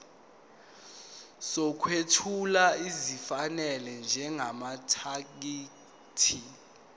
sokwethula esifanele njengamathekisthi